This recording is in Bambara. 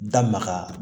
Da maga